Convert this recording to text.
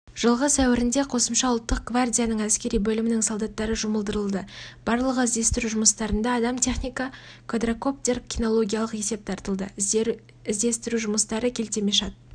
жылғы сәуірінде қосымша ұлттық гвардияның әскери бөлімінің солдаттары жұмылдырылды барлығы іздестіру жұмыстарына адам техника квадрокоптер кинологиялық есеп тартылды іздестіру жұмыстары келтемашат